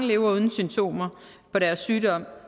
lever uden symptomer på deres sygdom